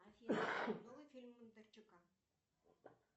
афина новый фильм бондарчука